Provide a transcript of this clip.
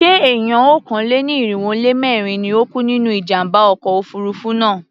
Ṣé èèyàn okòó-lé-ní-irínwó-lé-mẹ́rin ni ó kú nínú ìjàmbá ọkọ̀ òfurufú náà?